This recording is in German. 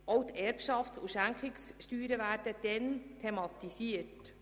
Auch die Erbschafts- und Schenkungssteuern werden dann thematisiert.